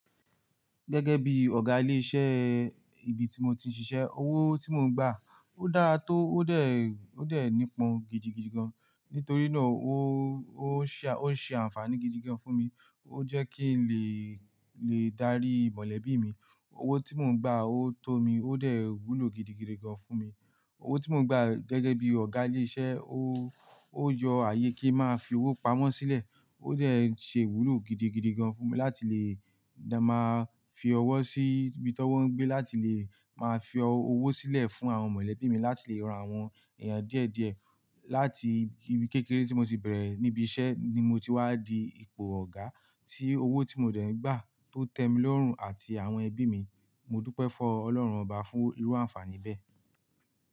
Gẹ́gẹ́ bí Ọ̀gá ilé iṣẹ́ ibi tí mo ti ń ṣiṣẹ́, owó tí mò ń gbà ó dára tó, ó dẹ̀, ó dẹ̀ nípọn gidigidi gan. Nítorí náà ó, ó ń ṣe, ó ń ṣe ànfàní gidigidi gan fún mi. Ó jẹ́ kí n lè, lè darí mọ̀lẹ́bí mi. Owó tí mò ń gbà ó tó mi, ó dẹ̀ wúlò gidigidi gan fún mi. Owó tí mò ń gbà gẹ́gẹ́ bí Ọ̀gá ilé iṣẹ́, ó, ó yọ ààyè kí má fi owó pamọ́ sílẹ̀. Ó dẹ̀ ṣe iwúlò gidigidi gan fún mi láti lè má fi ọwọ́ sí ibi t'ọ́wọ ń gbé, láti lè máa fi owó sílẹ̀ fún àwọn mọ̀lẹ́bí mi, láti lè ran àwọn èèyàn díẹ̀ díẹ̀. Láti ibi kékeré tí mo ti bẹ̀rẹ̀ níbi iṣẹ́ ni mo ti wá di ipò Ọ̀gá tí owó tí mo dẹ̀ ń gbà tó tẹ́ mi lọọrùn àti àwọn ẹbí mi. Mo dúpẹ́ fún Ọlọ́run Ọba fún irú ànfààní bẹ́ẹ̀.